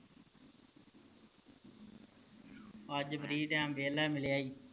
ਅੱਜ free time ਵਿਹਲਾ ਮਿਲਿਆ ਈ